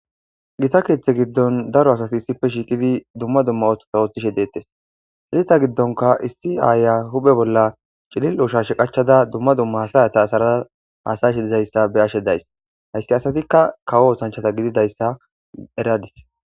Gita keeththe giddon daro asati issife shiiqidi dumma dumma oththota ooththishe deettes hizita giddonka issi aaya huphe bolla cilil ushashe qachada dumma dumma hasayata asaraa hasayshe dizayssa be ashe days hayssi asatikka kawo osanchata gididayssa eradis.